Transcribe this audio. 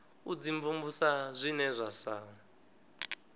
u dimvumvusa zwine zwa sa